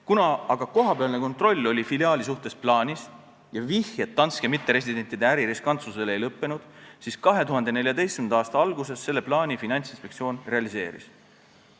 Kuna aga kohapealne kontroll oli filiaali suhtes plaanis ja vihjed Danske mitteresidentide äri riskantsusele ei lõppenud, siis Finantsinspektsioon 2014. aasta alguses selle plaani realiseeris.